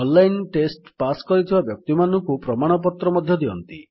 online test pass କରିଥିବା ବ୍ୟକ୍ତିମାନଙ୍କୁ ପ୍ରମାଣପତ୍ର ମଧ୍ୟ ଦିଅନ୍ତି